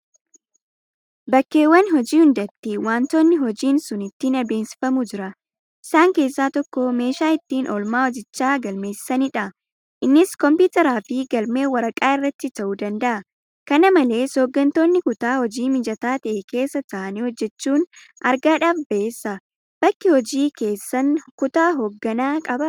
Bakkeewwan hojii hundatti waantonni hojiin sun ittiin adeemsifamu jira. Isaan keessaa tokko meeshaa ittiin oolmaa hojichaa galmeessanidha. Innis Kompiitaraafi Galmee waraqaa irratti ta'uu danda'a. Kana malees hooggantoonni kutaa hojii mijataa ta'e keessa taa'anii hojjechuun argaadhaaf bayeessa. Bakki hojii keessan kutaa hoogganaa qabaa?